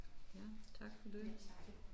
Ja tak for det